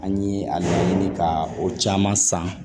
An ye a ɲini ka o caman san